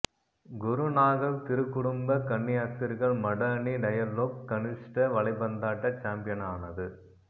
குருநாகல் திருக்குடும்ப கன்னியாஸ்திரிகள் மட அணி டயலொக் கனிஷ்ட வலைபந்தாட்ட சம்பியனானது